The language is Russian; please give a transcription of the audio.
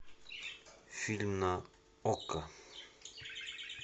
фильм на окко